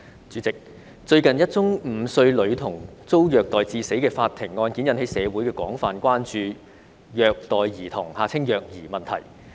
主席，最近，一宗5歲女童遭虐待致死的法庭案件引起社會廣泛關注虐待兒童問題。